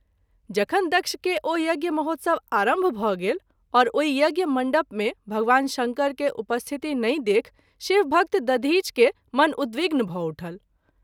जखन दक्ष के ओ यज्ञ महोत्सव आरंभ भ’ गेल और ओहि यज्ञ मण्डप मे भगवान शंकर के उपस्थिति नहिं देखि शिवभक्त दधिच के मन उद्विग्न भ’ उठल।